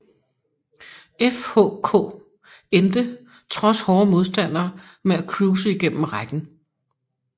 FHK endte trods hårde modstandere med at cruise igennem rækken